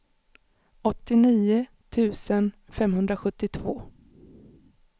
åttionio tusen femhundrasjuttiotvå